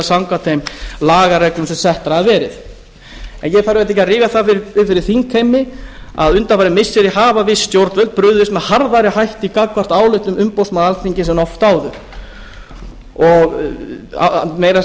samkvæmt þeim lagareglum sem settar hafa verið ég þarf auðvitað ekki að rifja það upp fyrir þingheimi að undanfarin missiri hafa viss stjórnvöld brugðist með harðari hætti gagnvart álitum umboðsmanns alþingis en oft áður meira að segja hafa